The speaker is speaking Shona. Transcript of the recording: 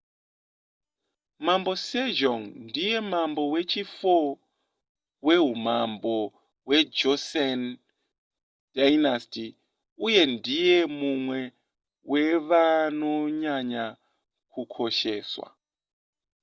mambo sejong ndiye mambo wechi4 weumambo hwejoseon dynasty uye ndiye mumwe wevanonyanya kukosheswa